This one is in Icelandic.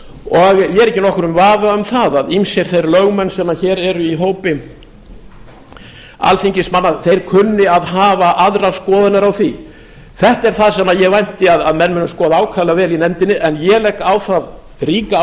og ég er ekki í nokkrum vafa um það að ýmsir þeir lögmenn sem hér eru í hópi alþingismanna kunni að hafa aðrar skoðanir á því þetta er það sem ég vænti að menn muni skoða ákaflega vel í nefndinni en ég legg á það ríka áherslu